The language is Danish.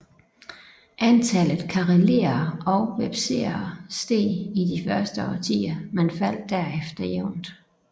Antallet karelere og vepsere steg i de første årtier men faldt derefter jævnt